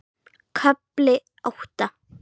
KAFLI ÁTTA